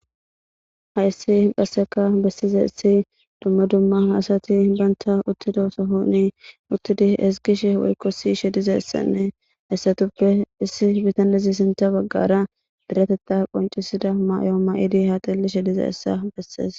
Hayssi phasseka bessiza issi dumma dumma hasati bantha uttido sohoni uttidi hesgishe woykkosi shediza issanne essatuppe issi bitanlizi sinta baggara direteta qoncisida mayo ma'idi haxilli she diza essa bessees.